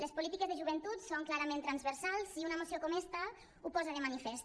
les polítiques de joventut són clarament transversals i una moció com esta ho posa de manifest